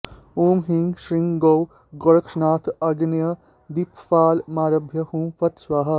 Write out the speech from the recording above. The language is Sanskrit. ॐ ह्रीं श्रीं गों गोरक्षनाथ आग्नेय दिक्पालमारभ्य हुँ फट् स्वाहा